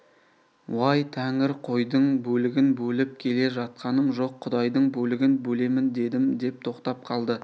уай тәңір қойдың бөлігін бөліп келе жатқаным жоқ құдайдың бөлігін бөлемін дедім деп тоқтап қалды